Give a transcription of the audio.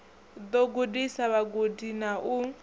ḓo gudisa vhagudi na u